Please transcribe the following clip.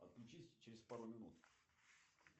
отключись через пару минут